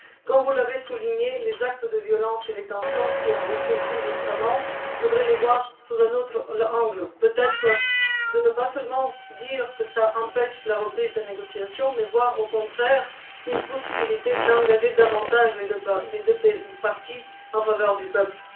Comme vous l'avez souligné, les actes de violence et les tensions qui ont resurgi récemment, il faudrait les voir sous un autre angle, et peut être ne pas seulement dire que cela empêche la reprise des négociations, mais y voir au contraire une possibilité d'engager davantage les deux parties en faveur du peuple.